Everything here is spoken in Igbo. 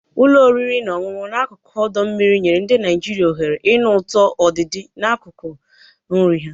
Ụlọ oriri na ọṅụṅụ n'akụkụ ọdọ mmiri nyere ndị Naijiria ohere ịnụ ụtọ ọdịdị n'akụkụ nri ha.